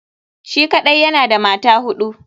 Shi kaɗai yana da mata hudu.